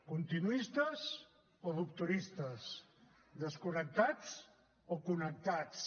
continuistes o rupturistes desconnectats o connectats